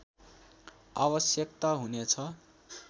आवश्यकता हुनेछ